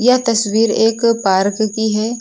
यह तस्वीर एक पार्क की है।